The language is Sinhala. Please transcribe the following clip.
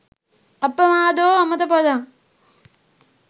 අප්පමාදෝ අමත පදං